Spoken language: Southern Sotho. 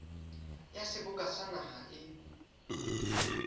ya seboka ya naha e